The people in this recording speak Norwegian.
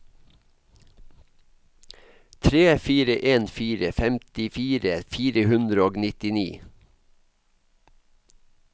tre fire en fire femtifire fire hundre og nittini